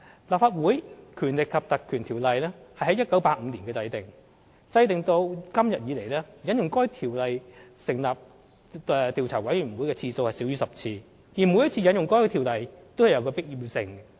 《立法會條例》於1985年制定，至今引用《條例》成立調查委員會的次數少於10次，而每一次引用《條例》都有其必要性。